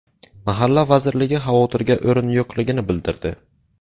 Mahalla vazirligi xavotirga o‘rin yo‘qligini bildirdi.